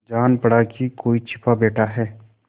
जान पड़ा कि कोई छिपा बैठा है